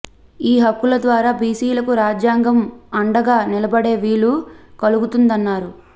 ఈ హక్కుల ద్వారా బీసీలకు రాజ్యాంగం అండగా నిలబడే వీలు కలుగుతుందన్నారు